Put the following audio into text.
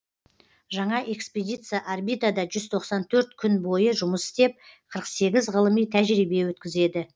жаңа экспедиция орбитада жүз тоқсан төрт күн бойы жұмыс істеп қырық сегіз ғылыми тәжірибе өткізеді